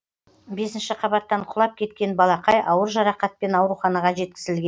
бесінші қабаттан құлап кеткен балақай ауыр жарақатпен ауруханаға жеткізілген